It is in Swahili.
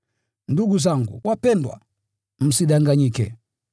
Ndugu zangu wapendwa, msidanganyike.